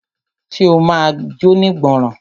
Ṣe o ma jónígbọràn?